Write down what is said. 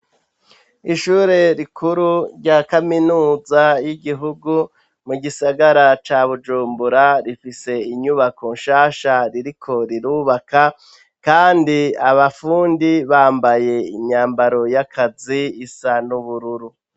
Ishure rikuru rya kaminuza y'igihugu mu gisagara ca bujumbura, rifise inyubako nshasha ririko rirubaka kandi abafundi bambaye imyambaro y'akazi isa n'ubururu.